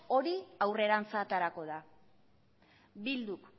hori aurrerantz aterako da bilduk